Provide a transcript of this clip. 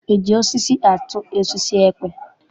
E ji osisi atụ osisi ekwe?